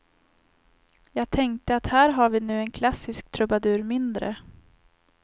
Jag tänkte att här har vi nu en klassisk trubadur mindre.